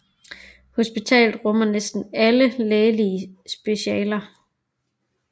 Hospitalet rummer næsten alle lægelige specialer